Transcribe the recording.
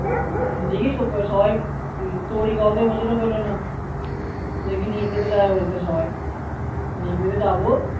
দেখি সবাই তৈরী করা তো এবছরে হলো না দেখি নিব্বে তে যাবে বলছে সবাই নিব্বে তে যাবো